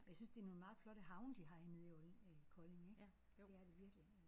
Men jeg synes det er nogle meget flotte havne de har nede i olding øh Kolding ik. Det er det virkelig